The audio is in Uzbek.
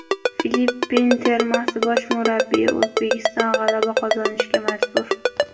Filippin termasi bosh murabbiyi: O‘zbekiston g‘alaba qozonishga majbur.